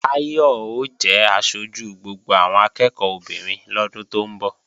Táyọ̀ ó jẹ aṣojú gbogbo àwọn akẹ́ẹ̀kọ́ obìnrin lọ́dún tó ń bọ̀